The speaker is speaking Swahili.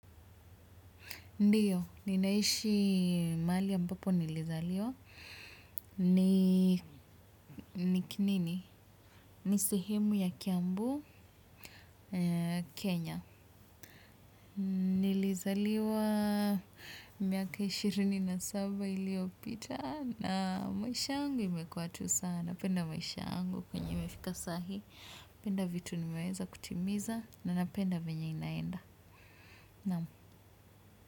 Ndiyo, ninaishi mahali ambapo nilizaliwa. Ni kinini? Ni sehemu ya Kiambu, Kenya. Nilizaliwa miaka ishirini na saba iliyopita na maisha yangu imekuwa tu sana. Penda maisha yangu kwenye imefika sahii. Penda vitu nimeweza kutimiza na napenda venye inaenda. Naam.